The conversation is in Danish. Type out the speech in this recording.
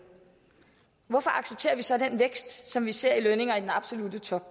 hvorfor accepterer vi så den vækst som vi ser i lønninger i den absolutte top